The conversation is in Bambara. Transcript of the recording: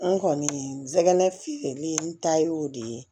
N kɔni nsɛgɛnɛfitin n ta y'o de ye